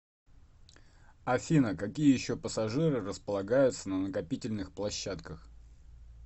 афина какие еще пассажиры располагаются на накопительных площадках